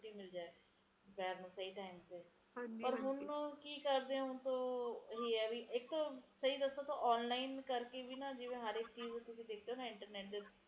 ਇਥੇ ਤੇ ਹੁਣ ਵੀ ਮੈਂ ਸਵੈਟਰ ਪਾ ਕੇ ਬੈਠੀ ਆ ਫੇਰ ਵੀ ਠੰਡ ਲੱਗੀ ਜਾਂਦੀ ਐ